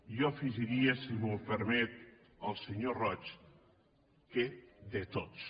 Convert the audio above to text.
jo hi afegiria si m’ho permet el senyor roig que de tots